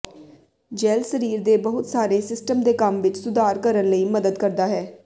gel ਸਰੀਰ ਦੇ ਬਹੁਤ ਸਾਰੇ ਸਿਸਟਮ ਦੇ ਕੰਮ ਵਿੱਚ ਸੁਧਾਰ ਕਰਨ ਲਈ ਮਦਦ ਕਰਦਾ ਹੈ